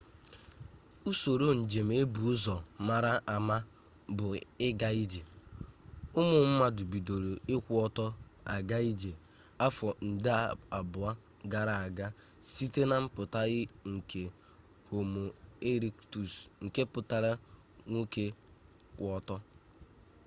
usoro njem e bu ụzọ mara ama bụ ịga ije ụmụ mmadụ bidoro ịkwụ ọtọ aga ije afọ nde abụọ gara aga site na mpụta nke homo erektus nke pụtara nwoke kwụ ọtọ